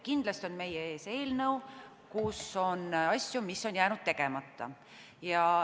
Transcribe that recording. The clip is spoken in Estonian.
Kindlasti on meie ees eelnõu, kus on asju, mis on jäänud tegemata.